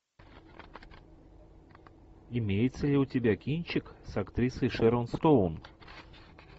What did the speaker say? имеется ли у тебя кинчик с актрисой шерон стоун